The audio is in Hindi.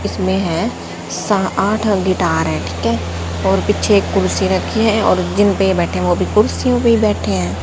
इसमें हैं सा आठ गिटार हैं ठिक हैं और पीछे एक कुर्सी रखीं है और जिनपे ये बैठे हुए वो भी कुर्सियों पे ही बैठे हैं।